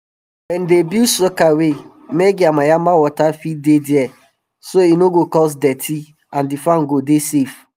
dem dey build sokaway make yamayama water fit dey there so e no go cause dirty and the farm go dey safe